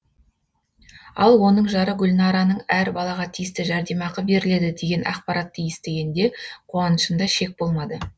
ал оның жары гүлнараның әр балаға тиісті жәрдемақы беріледі деген ақпаратты естігенде қуанышында шек болмады